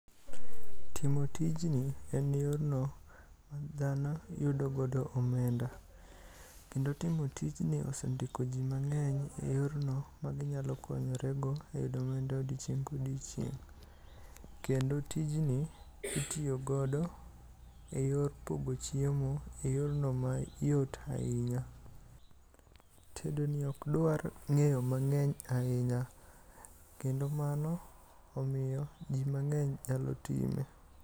Timo tijni en yorno ma dhano yudogo omenda kendo timo tijni osendiko jii mangeny e yorno maginyalo konyore go e yudo omenda odiochieng ka odiochieng ,kendo tijni itiyo godo e yor pogo chiemo e yorno mayot ahinya. Tedoni ok dwar ngeyo mangeny ahinya kendo mano omiyo jii mangeny nyalo time